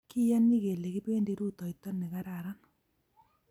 Kiyoni kele kipendi rutoito ne kararan